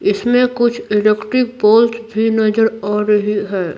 इसमें कुछ electric poles भी नजर आ रही है।